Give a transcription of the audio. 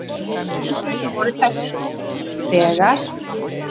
Tildrögin voru þessi: þegar